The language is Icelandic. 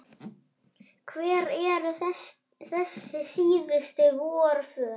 Hver eru þessi síðustu forvöð?